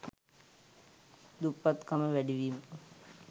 දුප්පත්කම වැඩිවීම